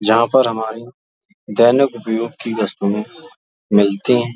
जहां पर हमारी दैनिक उपयोग की वस्तुएं मिलती हैं।